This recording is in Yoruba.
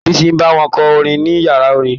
Bísí ń bá wọn kọ orin ní yàrá orin.